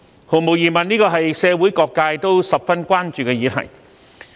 毫無疑問，社會各界都十分關注這項議題。